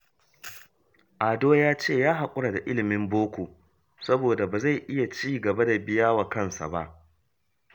Ado ya ce ya haƙura da ilimin boko, sabod ba zai iya ci gaba da biya wa kansa ba